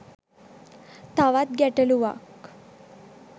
තවත් ගැටළුවක්.